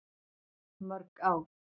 Mörg ár.